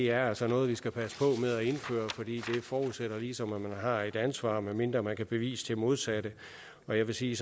er altså noget vi skal passe på med at indføre for det forudsætter ligesom at man har et ansvar medmindre man kan bevise det modsatte og jeg vil sige